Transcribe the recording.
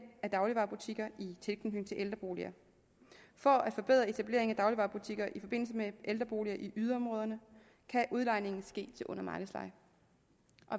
af dagligvarebutikker i tilknytning til ældreboliger for at forbedre etableringen af dagligvarebutikker i forbindelse med ældreboliger i yderområderne kan udlejning ske til under markedsleje